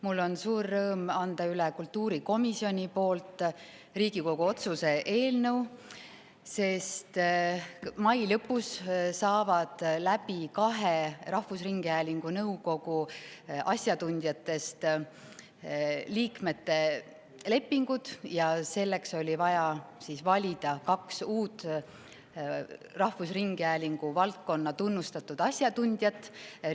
Mul on suur rõõm anda üle kultuurikomisjoni poolt Riigikogu otsuse eelnõu, sest mai lõpus saavad läbi kahe rahvusringhäälingu nõukogu asjatundjatest liikmete lepingud ja selleks oli vaja valida kaks uut rahvusringhäälingu valdkonna tunnustatud asjatundjat.